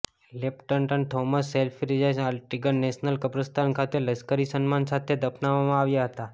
lieutenant Thomas સેલ્ફ્રિજને Arlington national કબ્રસ્તાન ખાતે લશ્કરી સન્માન સાથે દફનાવવામાં આવ્યા હતા